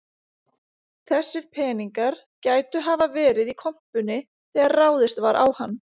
Þessir peningar gætu hafa verið í kompunni þegar ráðist var á hann